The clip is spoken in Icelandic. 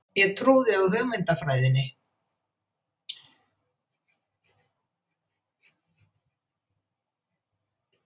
Ég trúði hugmyndafræðinni.